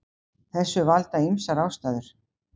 Þessu valda ýmsar ástæður.